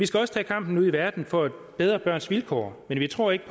skal også tage kampen ude i verden for at bedre børns vilkår men vi tror ikke